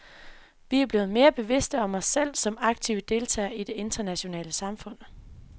Vi er blevet mere bevidste om os selv som aktive deltagere i det internationale samfund.